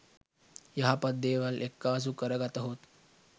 යහපත් දේවල් එක්කාසු කරගතහොත්